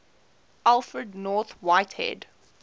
alfred north whitehead